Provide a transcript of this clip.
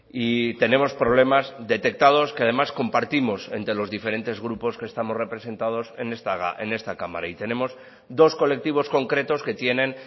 y tenemos problemas detectados que además compartimos entre los diferentes grupos que estamos representados en esta cámara y tenemos dos colectivos concretos que tienen